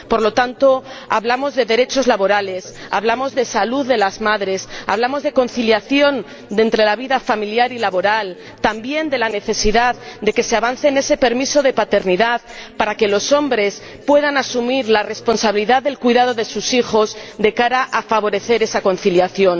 Por lo tanto, hablamos de derechos laborales, de salud de las madres, de conciliación entre la vida familiar y laboral, y también de la necesidad de que se avance en ese permiso de paternidad para que los hombres puedan asumir la responsabilidad del cuidado de sus hijos, de cara a favorecer esa conciliación.